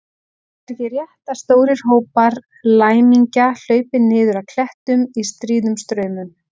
Það er ekki rétt að stórir hópar læmingja hlaupi niður af klettum í stríðum straumum.